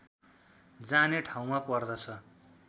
जाने ठाउँमा पर्दछ